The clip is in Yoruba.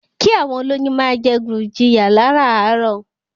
Kí àwọn olóyún máa jẹ gurjiya láràárò.